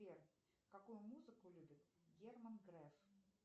сбер какую музыку любит герман греф